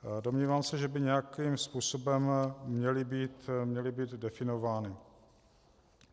Domnívám se, že by nějakým způsobem měly být definovány.